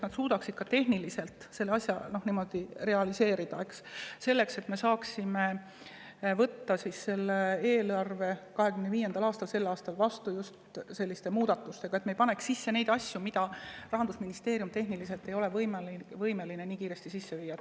et nad suudaksid selle asja niimoodi realiseerida, et me saaksime võtta 2025. aasta eelarve vastu just selliste muudatustega, mis ei sisalda asju, mida Rahandusministeerium tehniliselt ei ole võimeline nii kiiresti sisse viima.